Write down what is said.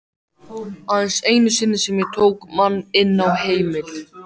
Aðeins einu sinni sem ég tók mann inn á heimil.